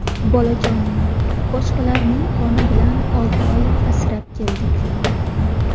Bolajonimni boshqalarning qoni bilan olti oy asrab keldik.